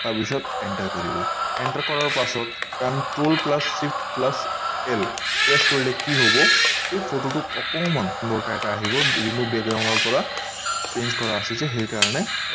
তাৰ পিছত enter কৰিব enter কৰাৰ পাছত control plus shift plus l press কৰিলে কি হব এই photo অকনমান এটা আহিব remove background পৰা change আছে যে সেই কাৰণে